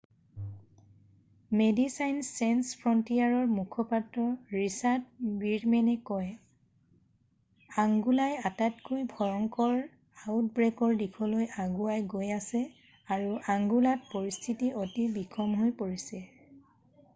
"মেডিচাইনছ Sans ফ্ৰণ্টিয়াৰৰ মুখপাত্ৰ Richard ৱীৰমেনে কয়: "আংগোলাই আটাইতকৈ ভয়ংকৰ আউটব্ৰেকৰ দিশলৈ আগুৱাই গৈ আছে আৰু আংগোলাত পৰিস্থিতি অতি বিষম হৈ আছে।""